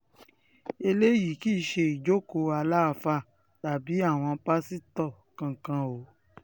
eléyìí kì í ṣe ìjókòó aláàfáà tàbí àwọn pásítọ̀ kankan o